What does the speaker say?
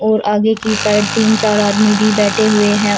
और आगे की साइड तीन चार आदमी भी बैठे हुए हैं।